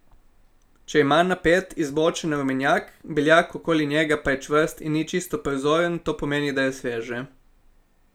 Če ima napet, izbočen rumenjak, beljak okoli njega pa je čvrst in ni čisto prozoren, to pomeni, da je sveže.